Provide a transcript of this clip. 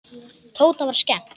Tóta var skemmt.